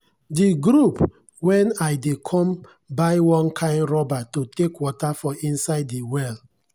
de group wen i dey come buy one kind rubber to take water for inside de well.